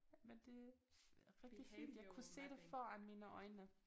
Men det rigtig fint jeg kunne se det foran mine øjne